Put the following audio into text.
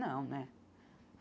Não, né?